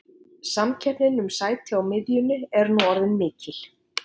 Samkeppnin um sæti á miðjunni er nú orðin mikil.